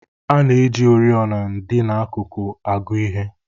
A na-eji oriọna dị n'akụkụ agụ ihe